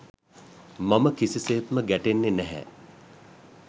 මම කිසි සේත්ම ගැටෙන්නේ නැහැ.